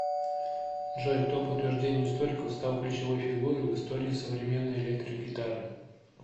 джой кто по утверждению историков стал ключевой фигурой в истории современной электрогитары